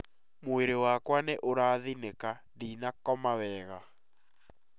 Mwĩrĩ wakwa nĩ ũrathĩnĩka, ndĩnakoma wega